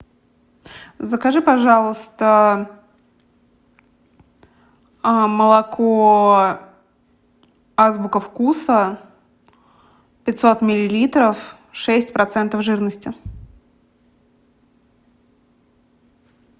закажи пожалуйста молоко азбука вкуса пятьсот миллилитров шесть процентов жирности